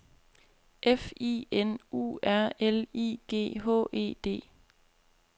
F I N U R L I G H E D